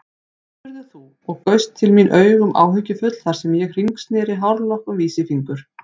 spurðir þú og gaust til mín augum áhyggjufull þar sem ég hringsneri hárlokk um vísifingur.